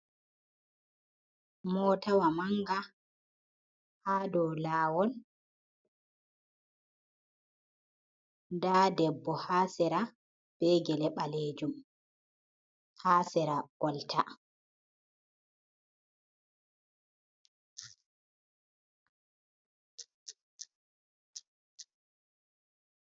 Motawa manga ha do lawol da debbo ha sera be gele balejum ha sera kolta.